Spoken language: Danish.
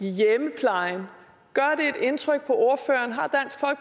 i hjemmeplejen indtryk